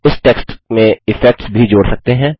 आप इस टेक्स्ट में इफेक्ट्स भी जोड़ सकते हैं